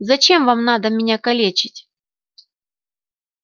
зачем вам надо меня калечить